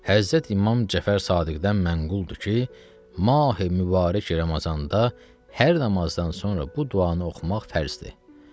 Həzrət İmam Cəfər Saqiqdən mənquldur ki, Mahi Mübarək Ramazanda hər namazdan sonra bu duanı oxumaq fərzdir.